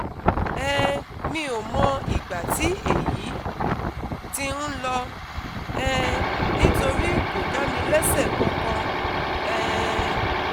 um mi ò mọ ìgbà tí èyí ti ń lọ um nítorí kò dá mi léṣe kankan um